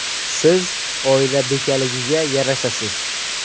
Siz oila bekaligiga yarashasiz.